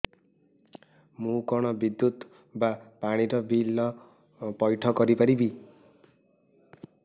ମୁ କଣ ବିଦ୍ୟୁତ ବା ପାଣି ର ବିଲ ପଇଠ କରି ପାରିବି